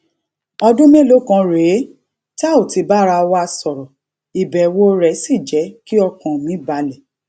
ọdún mélòó kan rèé tá ò ti bára wa sòrò ìbèwò rè sì jé kí ọkàn mi balè